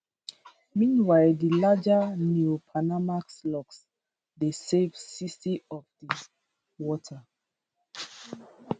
meanwhile di larger neopanamax locks dey save 60 of di water